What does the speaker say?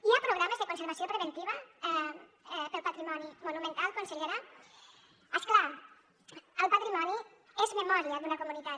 hi ha programes de conservació preventiva per al patrimoni monumental consellera és clar el patrimoni és memòria d’una comunitat